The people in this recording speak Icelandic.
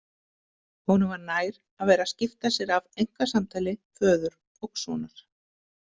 Honum var nær að vera að skipta sér af einkasamtali föður og sonar.